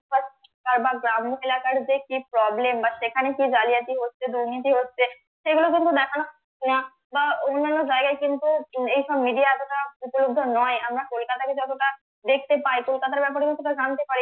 গ্রাম্য এলাকার যে কি problem বা সেখানে কি জালিয়াতি হচ্ছে দুর্নীতি হচ্ছে সেগুলো কিন্তু দেখানো হয় না বা অন্যান্য জায়গায় কিন্তু এইসব media এতটা উপলব্ধ নয় আমরা কলকাতাকে যতটা দেখতে পাই কলকাতার ব্যাপারে যতটা জানতে পারি